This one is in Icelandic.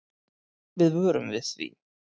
Við vörum við því.